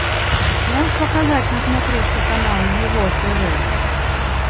можешь показать на смотрешке канал его тв